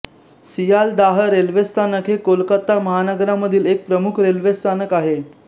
Sealdah railway स्थानक हे कोलकाता महानगरामधील एक प्रमुख रेल्वे स्थानक आहे